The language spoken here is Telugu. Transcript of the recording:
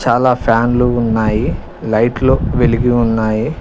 చాలా ఫ్యాన్లు ఉన్నాయి లైట్లు వెలిగి ఉన్నాయి